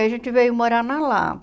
Aí a gente veio morar na Lapa.